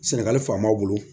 Sɛnɛgali faamaw bolo